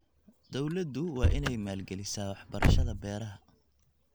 Dawladdu waa inay maalgelisaa waxbarashada beeraha.